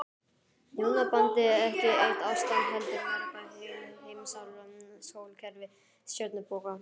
Hjónabandið ekki eitt ástand heldur mörg, heil heimsálfa, sólkerfi, stjörnuþoka.